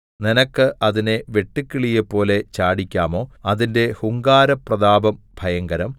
നിനക്ക് അതിനെ വെട്ടുക്കിളിയെപ്പോലെ ചാടിക്കാമോ അതിന്റെ ഹുങ്കാരപ്രതാപം ഭയങ്കരം